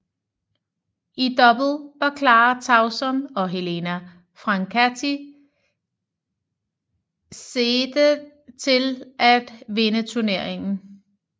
I double var Clara Tauson og Helena Francati seedet til at vinde turneringen